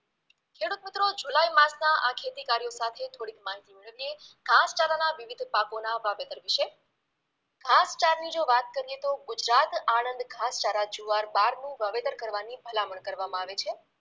ખેડુતમિત્રો જુલાઈમાસના આ ખેતીકાર્યો સાથે થોડીક માહિતી મેળવીએ ઘાસચારાના વિવિધ પાકોના વાવેતર વિશે ઘાસચારાની જો વાત કરીએ તો ગુજરાત આણંદ ઘાસચારા જુવાર બારનું વાવેતર કરવાની ભલામણ કરવામાં આવે છે